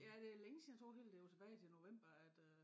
Ja det længe siden jeg tror det var helt det var tilbage til november at øh